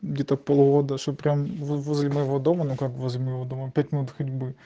где-то полгода что прям возле моего дома но как возле моего дома пять минут ходьбы